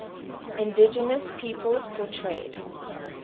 indigenous peoples portrayed